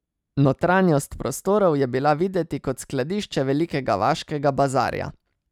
Notranjost prostorov je bila videti kot skladišče velikega vaškega bazarja.